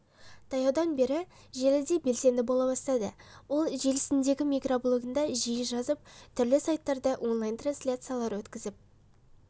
таяудан бері желіде белсенді бола бастады ол желісіндегі микроблогында жиі жазып түрлі сайттарда онлайн-трансляциялар өткізіп